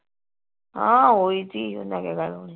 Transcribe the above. ਹਾਂ ਹੋਈ ਤੀ ਓਹਨਾ ਨੇ ਗੱਲ